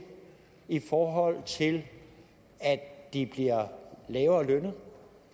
i forhold til at de bliver lavere lønnet